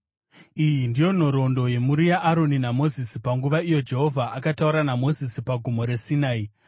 Iyi ndiyo nhoroondo yemhuri yaAroni naMozisi panguva iyo Jehovha akataura naMozisi paGomo reSinai.